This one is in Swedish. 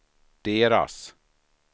deras